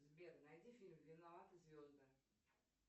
сбер найди фильм виноваты звезды